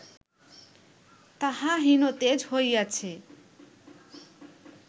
তাহা হীনতেজ হইয়াছে